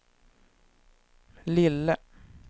lille